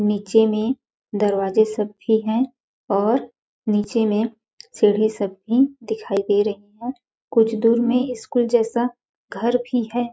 नीचे में दरवाजे सब भी है और नीचे में सीढ़ी सब भी दिखाई दे रही है कुछ दूर में स्कूल जैसा घर भी है।